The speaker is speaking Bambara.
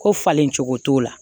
Ko falen cogo t'o la